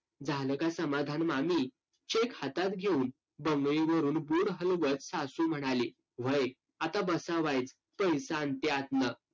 झालं का समाधान मामी? cheque हातात घेऊन बुड हलवत सासू म्हणाली. व्हय, आता बसा वाईच, पैसं आणते आतनं.